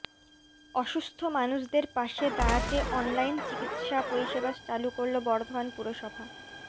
অসুস্থ মানুষদের পাশে দাঁড়াতে অনলাইন চিকিৎসা পরিষেবা চালু করল বর্ধমান পুরসভা